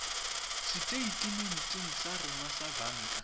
seteitementeng sa rona sa banka